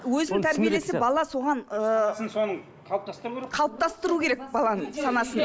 өзін тәрбиелесе бала соған ыыы соның қалыптастыру керек қалыптастыру керек баланың санасын